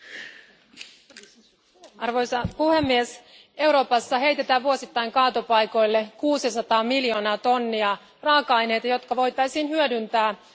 Arvoisa puhemies, Euroopassa heitetään vuosittain kaatopaikoille kuusisataa miljoonaa tonnia raaka aineita, jotka voitaisiin hyödyntää ja käyttää uudelleen.